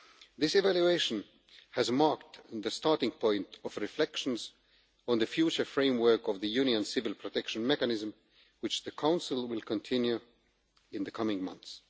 This evaluation has marked the starting point of reflections on the future framework of the Union Civil Protection Mechanism which the Council will continue in the coming months.